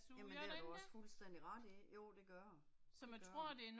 Jamen det har du også fuldstændig ret i, jo det gør den, det gør den